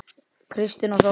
Kristín og Þóra.